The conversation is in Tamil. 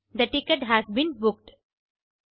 they ticket has been booked